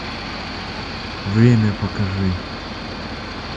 время покажи